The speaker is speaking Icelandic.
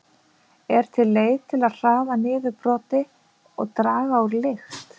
Er til leið til að hraða niðurbroti og draga úr lykt?